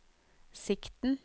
sikten